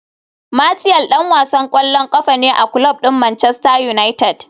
Martial dan wasan kwallon kafa ne a kulob din Manchester United.